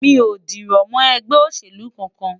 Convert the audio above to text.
Mi ò dìrọ̀ mọ́ ẹgbẹ́ òṣèlú kankan.